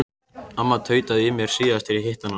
Amma tautaði í mér síðast þegar ég hitti hana.